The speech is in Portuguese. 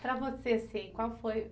Para você assim, qual foi